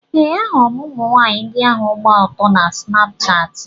Ee, ahụrụ m ụmụnwaanyị ndị ahụ gba ọtọ na Snapshatị.